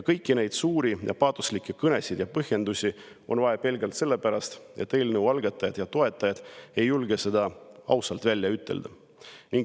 Kõiki neid suuri ja paatoslikke kõnesid ja põhjendusi on vaja pelgalt sellepärast, et eelnõu algatajad ja toetajad ei julge seda ausalt välja ütelda.